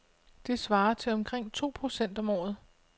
Det svarer til omkring to procent om året.